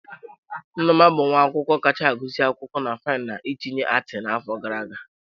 Nneoma bụ nwa akwụkwọ kacha agụsị akwụkwọ na fainu ma tinye ati n'afọ gara aga.